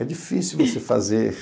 É difícil você fazer.